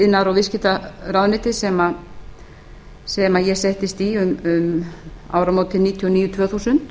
iðnaðar og viðskiptaráðuneytið sem ég settist í um áramótin nítján hundruð níutíu og níu tvö þúsund